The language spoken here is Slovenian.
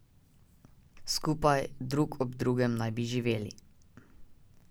Skupaj, drug ob drugem naj bi živeli.